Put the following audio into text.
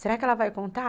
Será que ela vai contar?